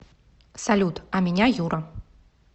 салют а меня юра